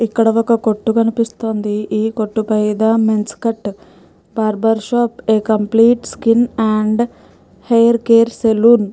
ఇక్కడ ఒక్క కొట్టు కనిపిస్తోంది ఈ కొట్టు పైదా men's cut barber shop a complete skin and hair care salon --